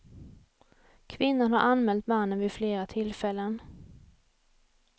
Kvinnan har anmält mannen vid flera tillfällen.